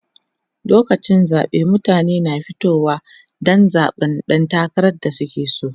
lokacin zaɓe mutane na fitowa Dan zaɓan ɗan takarar da suke so